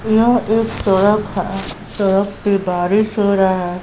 यह एक सड़क है सड़क पे बारिश हो रहा--